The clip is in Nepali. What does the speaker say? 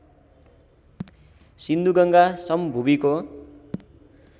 सिन्धुगङ्गा समभूमिको